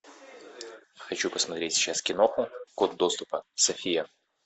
хочу посмотреть сейчас кино код доступа софия